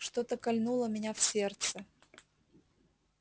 что-то кольнуло меня в сердце